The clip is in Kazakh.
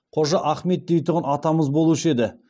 қожа ахмет дейтұғын атамыз болушы еді